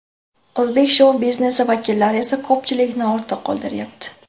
O‘zbek shou-biznesi vakillari esa ko‘pchilikni ortda qoldiryapti!